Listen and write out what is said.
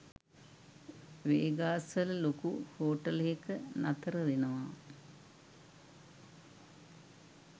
Vegas වල ලොකු හෝටලේක නතර වෙනවා